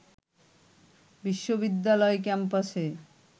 বিশ্ববিদ্যালয় ক্যাম্পাসে